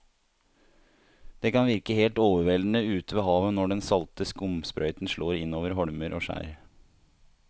Det kan virke helt overveldende ute ved havet når den salte skumsprøyten slår innover holmer og skjær.